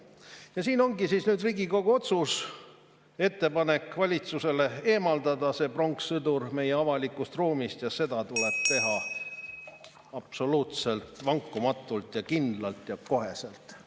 Ja siin ongi Riigikogu otsus, ettepanek valitsusele eemaldada see pronkssõdur meie avalikust ruumist ja seda tuleb teha absoluutselt vankumatult ja kindlalt ja koheselt.